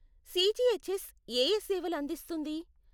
CGHS ఏఏ సేవలు అందిస్తుంది?